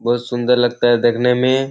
बहुत सुंदर लगता है देखने में ये।